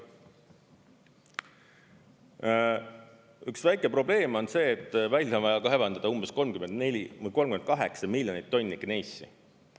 Üks väike probleem on see, et välja on vaja kaevandada umbes 38 miljonit tonni gneissi.